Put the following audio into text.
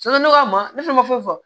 ne ka ma ne fana ma foyi fɔ